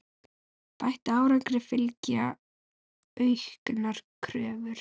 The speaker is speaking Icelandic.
Bættum árangri fylgja auknar kröfur.